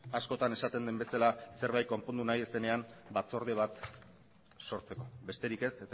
askotan esaten den bezala zerbait konpondu nahi ez denean batzorde bat sortzeko besterik ez